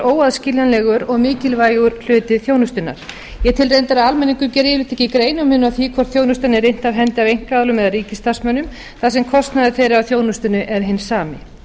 óaðskiljanlegur og mikilvægur hluti þjónustunnar ég tel að almenningur geri yfirleitt ekki greinarmun á því hvort þjónustan er innt af hendi af einkaaðilum eða ríkisstarfsmönnum þar sem kostnaður þeirra af þjónustunni er hinn sami